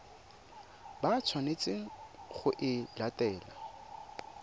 ba tshwanetseng go e latela